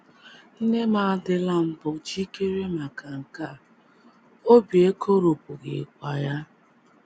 Nne m adịla mbụ jikere maka nke a a, obi ekoropụghịkwa ya.